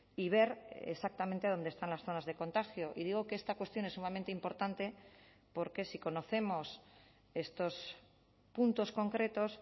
y ver exactamente dónde están las zonas de contagio y digo que esta cuestión es sumamente importante porque si conocemos estos puntos concretos